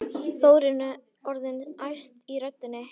Þórunn er orðin æst í röddinni.